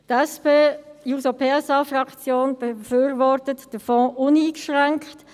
Die SP-JUSO-PSA-Fraktion befürwortet den Fonds uneingeschränkt.